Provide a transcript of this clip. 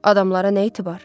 Adamlara nə etibar?